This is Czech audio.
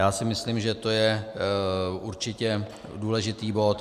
Já si myslím, že to je určitě důležitý bod.